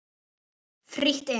Frítt inn.